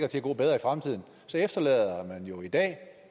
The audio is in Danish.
til at gå bedre i fremtiden så efterlader man jo i dag